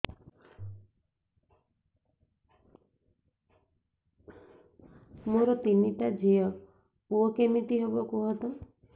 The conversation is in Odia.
ମୋର ତିନିଟା ଝିଅ ପୁଅ କେମିତି ହବ କୁହତ